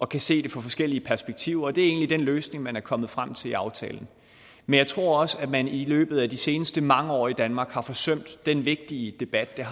kan se de forskellig perspektiver og det er egentlig den løsning man er kommet frem til i aftalen men jeg tror også at man i løbet af de seneste mange år i danmark har forsømt den vigtige debat der